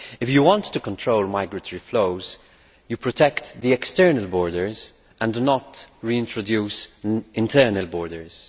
If you want to control migratory flows, you protect the external borders and do not reintroduce internal borders.